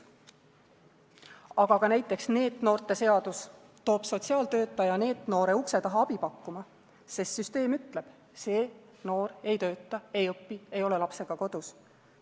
Aga näiteks NEET-noorte seadus toob sotsiaaltöötaja NEET-noore ukse taha abi pakkuma, sest süsteem ütleb: see noor ei tööta, ei õpi, ei ole lapsega kodus.